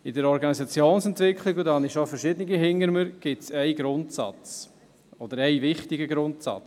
In der Organisationsentwicklung – und davon habe ich schon verschiedene hinter mir – gibt es einen wichtigen Grundsatz: